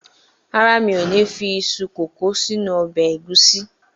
Rárá, mi ò ní fi iṣu kòkó sínú ọbẹ̀ ẹ̀gúsí.